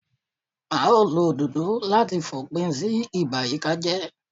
A ó lo àwọn òdòdó láti fòpin sí ìbàyíkájẹ́